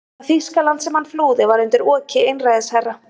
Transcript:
Það Þýskaland sem hann flúði var undir oki einræðisherra.